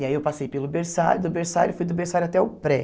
E aí eu passei pelo berçário, do berçário, fui do berçário até o pré.